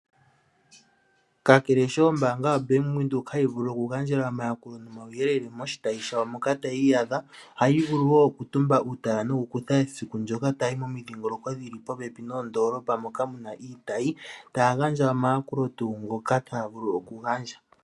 Kakele sho ombaanga yaBank Windhoek hayi vulu okugandjela omayakulo nomauyelele moshitayi shayo moka tayi iyadha, ohayi vulu woo okutumba uutala noku kutha esiku ndyoka taya yi komindhingoloko dhili popepi noondolopa moka muna iitayi . Ohaya gandja omayakulo tuu ngoka taya vulu okugandja.